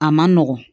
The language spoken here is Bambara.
A man nɔgɔn